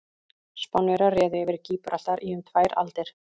Spánverjar réðu yfir Gíbraltar í um tvær aldir.